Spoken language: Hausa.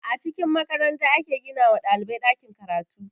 A cikin makaranta ake gina wa ɗalibai ɗakin karatu